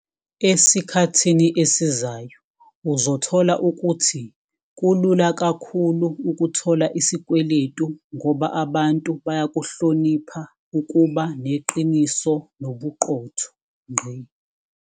Esikhathini esizayo uzothola ukuthi kulula kakhulu ukuthola isikweletu ngoba abantu bayakuhlonipha ukuba neqiniso nobuqotho.